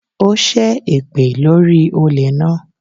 Ó ṣẹ́ èpè lórí i olè náà